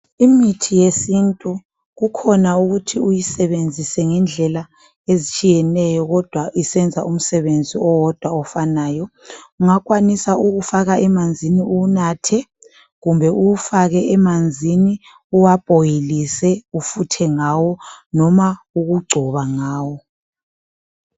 Imithi yesintu kukhona ukuthi uyisebenzise ngendlela ezitshiyeneyo kodwa isenza umsebenzi owodwa ofanayo. Ungakwanisa ukuwufaka emanzini uwunathe kumbe uwufake emanzini uwabhoyilise ufuthe ngawo noma ukugcoba ngawo